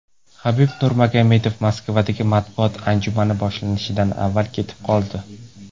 Habib Nurmagomedov Moskvadagi matbuot anjumani boshlanishidan avval ketib qoldi.